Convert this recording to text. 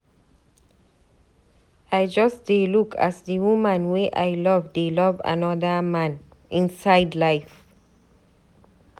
I just dey look as di woman wey I love dey love anoda man, inside life.